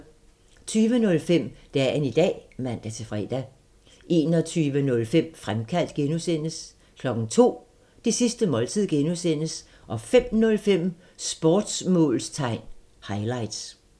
20:05: Dagen i dag (man-fre) 21:05: Fremkaldt (G) 02:00: Det sidste måltid (G) 05:05: Sportsmålstegn highlights